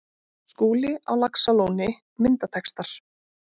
Skúli á Laxalóni Myndatextar